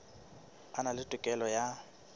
a na le tokelo ya